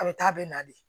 A bɛ taa a bɛ na de